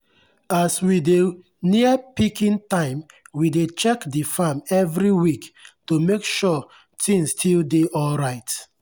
as we dey near picking time we dey check the farm every week to make sure things still dey alright.